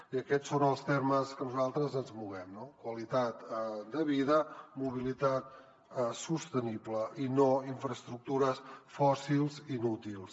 i aquests són els termes en què nosaltres ens movem no qualitat de vida mobilitat sostenible i no infraestructures fòssils inútils